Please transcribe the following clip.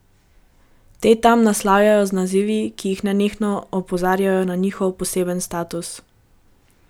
Te tam naslavljajo z nazivi in jih nenehno opozarjajo na njihov posebni status.